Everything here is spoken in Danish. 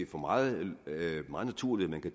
for meget naturligt at